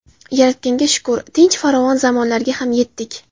Yaratganga shukr, tinch, farovon zamonlarga ham yetdik.